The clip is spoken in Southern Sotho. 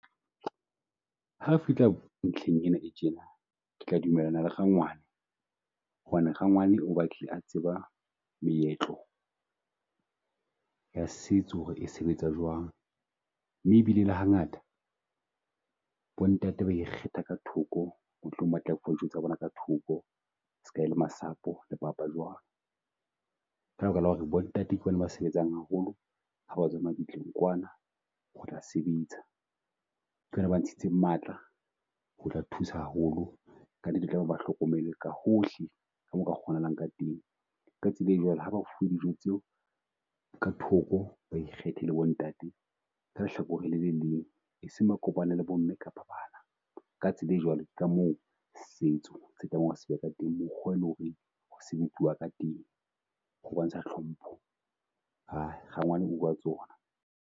Ha re fihla ntlheng ena e tjena, ke tla dumellana le rangwana. Hobane rangwana o batlile a tseba meetlo ya setso ho re e sebetsa jwang, mme e bile le ha ngata bontate ba ikgetha ka thoko mohlomong batla fuwa dijo tsa bona ka thoko ska e le masapo le papa jwalo. Ka lebaka la ho re bontate ke bona ba sebetsang haholo ha ba tswa mabitleng kwana, ho tla sebetsa. Ke bona ba ntshitseng matla ho tla thusa haholo, kannete ba hlokomelwe ka hohle ka moo ho ka kgonahalang ka teng. Ka tsela e jwalo, ha ba fuwe dijo tseo ka thoko ba ikgethile bo ntate, ka lehlakoreng le leng, e seng ba kopane le bo mme kapa bana. Ka tsela e jwalo ka moo setso se ka teng, ho sebetsiwa ka teng ho bontsha hlompho, rangwane .